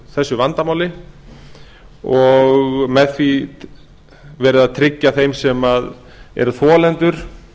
þessu vandamáli og með því verið að tryggja þeim sem eru þolendur